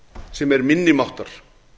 sem er minni máttar